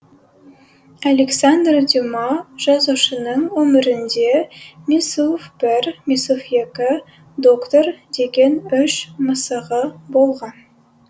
александр дюма жазушының өмірінде мисуф бір мисуф екі доктор деген үш мысығы болған